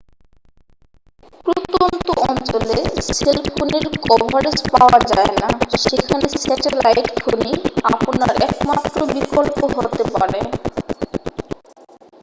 প্রত্যন্ত অঞ্চলে সেলফোনের কভারেজ পাওয়া যায় না সেখানে স্যাটেলাইট ফোনই আপনার একমাত্র বিকল্প হতেপারে